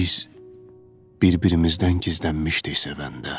Biz bir-birimizdən gizlənmişdik sevəndə.